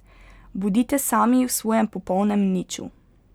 Bodite sami v svojem popolnem niču.